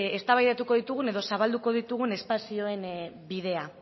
eztabaidatuko ditugun edo zabalduko ditugun espazioen bidea